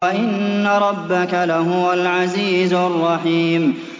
وَإِنَّ رَبَّكَ لَهُوَ الْعَزِيزُ الرَّحِيمُ